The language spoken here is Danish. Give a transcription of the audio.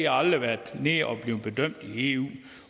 aldrig været nede og blive bedømt i eu